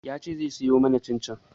Ya ce zai siyo mana cin-cin